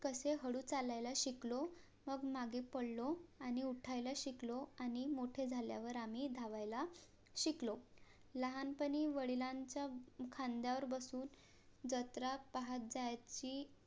कशे हळू चालायला शिकलो. मग मागे पळालो आणि उठायला शिकलो. आणि मोठे झाल्या वर आम्ही धावायला शिकलो. लहानपणी वडिलांचा खांद्यावर बसून जत्रा पाहत जायची,